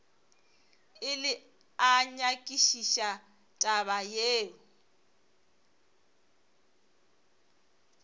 ile a nyakišiša taba yeo